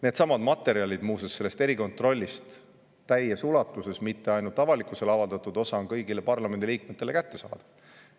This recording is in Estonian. Needsamad materjalid, muuseas, sellest erikontrollist – täies ulatuses, mitte ainult avalikkusele avaldatud osa – on kõigile parlamendiliikmetele kättesaadav.